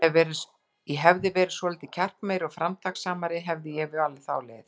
Ef ég hefði verið svolítið kjarkmeiri og framtakssamari, hefði ég valið þá leið.